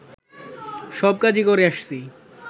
সব কাজই করে আসছি